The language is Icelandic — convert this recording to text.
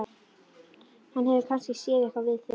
Hann hefur kannski séð eitthvað við þig!